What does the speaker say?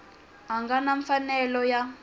a nga na mfanelo ya